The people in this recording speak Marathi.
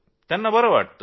त्यांना बरं वाटतं